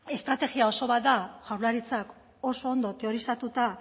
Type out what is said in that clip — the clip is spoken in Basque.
estrategia oso bat da jaurlaritzak oso ondo teorizatuta